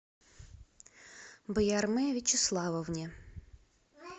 баярме вячеславовне